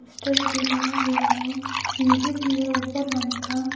Stir भी लगा हुआ है सीढ़ी भी है ऊपर आने का।